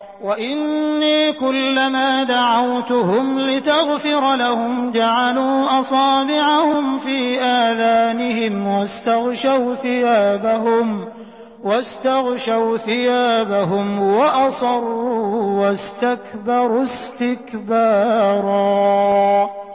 وَإِنِّي كُلَّمَا دَعَوْتُهُمْ لِتَغْفِرَ لَهُمْ جَعَلُوا أَصَابِعَهُمْ فِي آذَانِهِمْ وَاسْتَغْشَوْا ثِيَابَهُمْ وَأَصَرُّوا وَاسْتَكْبَرُوا اسْتِكْبَارًا